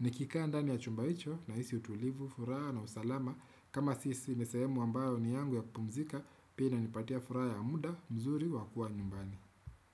Ni kika a ndani ya chumba hicho na hisi utulivu, furaha na usalama kama sisi ni sehemu ambayo ni yangu ya kupumzika Pia inipatia furaha ya muda, mzuri, wakuwa nyumbani.